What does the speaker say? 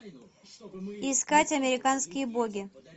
искать американские боги